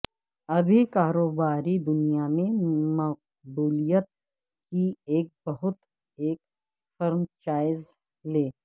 ابھی کاروباری دنیا میں مقبولیت کی ایک بہت ایک فرنچائز لے